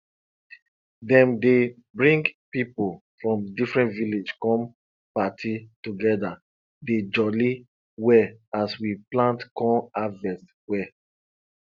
dem dey bring pipo from different village come party together dey jolly well as we plant con harvest well